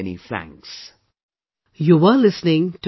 Many many thanks